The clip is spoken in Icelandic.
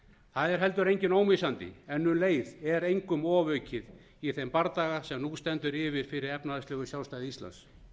það er heldur enginn ómissandi en um leið er engum ofaukið í þeim bardaga sem nú stendur yfir fyrir efnahagslegu sjálfstæði íslands